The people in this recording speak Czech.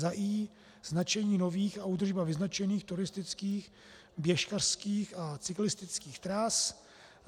i) Značení nových a údržba vyznačených turistických, běžkařských a cyklistických tras.